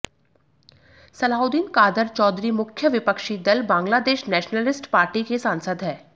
सलाऊद्दीन कादर चौधरी मुख्य विपक्षी दल बांग्लादेश नेशनलिस्ट पार्टी के सांसद हैं